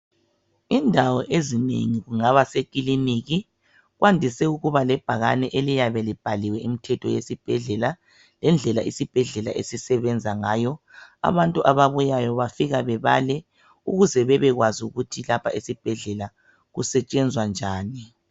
indawo ezinengi kungaba sekiliniki kwandise ukuba lebhakane eliyabe libhaliwe imithetho yesibhedlela lendlela isibhedlela esisebenza ngayo abantu ababuyayo bafika bebale ukuze bebekwazi ukuthi lapha esibhedlela kusetshenzwa njani